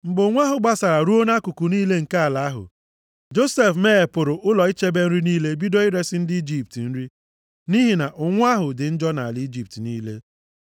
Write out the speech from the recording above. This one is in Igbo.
Mgbe ụnwụ ahụ gbasara ruo nʼakụkụ niile nke ala ahụ, Josef meghepụrụ ụlọ ichebe nri niile bido iresi ndị Ijipt nri, nʼihi na ụnwụ ahụ dị njọ nʼala Ijipt niile.